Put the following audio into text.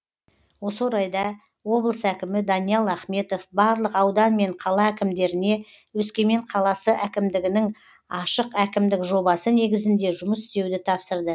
осы орайда облыс әкімі даниал ахметов барлық аудан мен қала әкімдеріне өскемен қаласы әкімдігінің ашық әкімдік жобасы негізінде жұмыс істеуді тапсырды